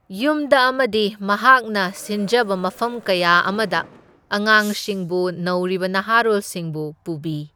ꯌꯨꯝꯗ ꯑꯃꯗꯤ ꯃꯍꯥꯛꯅ ꯁꯤꯟꯖꯕ ꯃꯐꯝ ꯀꯌꯥ ꯑꯃꯗ ꯑꯉꯥꯡꯁꯤꯡꯕꯨ ꯅꯧꯔꯤꯕ ꯅꯍꯥꯔꯣꯜꯁꯤꯡꯕꯨ ꯄꯨꯕꯤ꯫